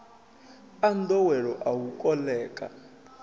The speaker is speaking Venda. a nḓowelo a u koḽeka